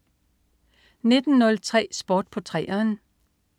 19.03 Sport på 3'eren